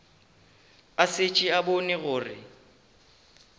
a šetše a bone gore